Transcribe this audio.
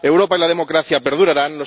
Europa y la democracia perdurarán